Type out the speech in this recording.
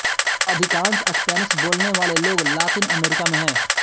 अधिकांश स्पेनिश बोलने वाले लोग लातिन अमेरिका में हैं